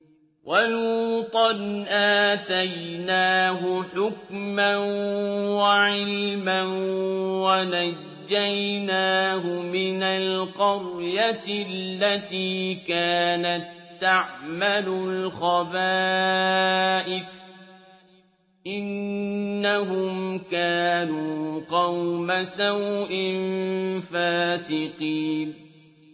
وَلُوطًا آتَيْنَاهُ حُكْمًا وَعِلْمًا وَنَجَّيْنَاهُ مِنَ الْقَرْيَةِ الَّتِي كَانَت تَّعْمَلُ الْخَبَائِثَ ۗ إِنَّهُمْ كَانُوا قَوْمَ سَوْءٍ فَاسِقِينَ